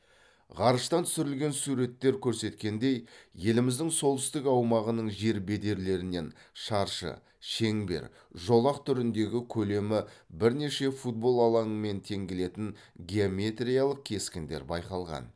ғарыштан түсірілген суреттер көрсеткендей еліміздің солтүстік аумағынаның жер бедерлерінен шаршы шеңбер жолақ түріндегі көлемі бірнеше футбол алаңымен тең келетін геометриялық кескіндер байқалған